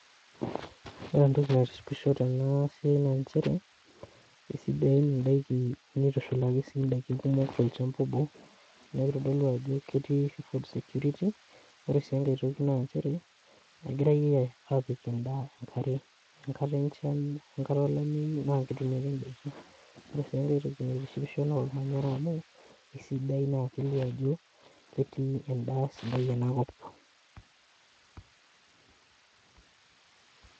Ore entoki naitishipisho tenabae na nchere esidain indakini nitushulaki si ndakin kumok tolchamba obo nekitodolu ajo ketii food security ore si enkae toki na nchere egirai apik endaa enkare enkata enchan we enkata olameyu na ketumi ake ndakin ore aitoki naitishipisho na ormanyara amu aisidai na kelio ajo ketii endaa sidai enakop.